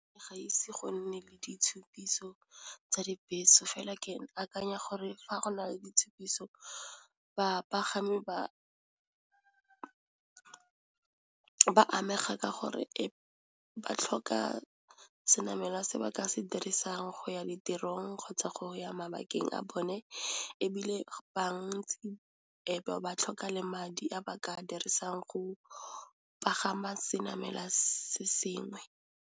Ga ise go nne le ditshupiso tsa dibese fela ke akanya gore fa go na le ditshupiso bapagami ba amega ka gore ba tlhoka senamela se ba ka se dirisang go ya ditirong, kgotsa go ya mabakeng a bone ebile bantsi ebe ba tlhoka le madi a ba ka dirisang go pagama senamela se sengwe.